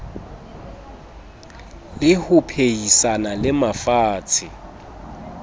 le ho phehisana le mafatshe